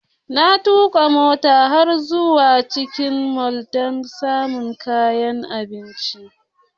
Na tuka mota har zuwa cikin mall don samun kayan abinci.